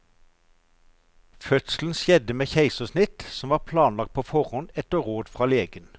Fødselen skjedde med keisersnitt som var planlagt på forhånd, etter råd fra legen.